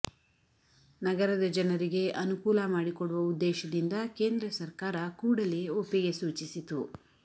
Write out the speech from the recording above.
ನಗರದ ಜನರಿಗೆ ಅನುಕೂಲ ಮಾಡಿಕೊಡುವ ಉದ್ದೇಶದಿಂದ ಕೇಂದ್ರ ಸರ್ಕಾರ ಕೂಡಲೇ ಒಪ್ಪಿಗೆ ಸೂಚಿಸಿತು